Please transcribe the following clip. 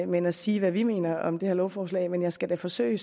men at sige hvad vi mener om det her lovforslag men jeg skal da forsøge